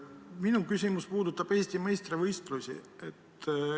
Minu küsimus puudutab Eesti meistrivõistlusi.